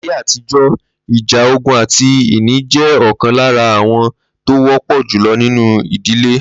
Láyé àtijó̩, ìjà ogún àti ìní jé̩ ò̩kan lára aáwò̩ tó wó̩pò̩ jùlo̩ nínú ìdílé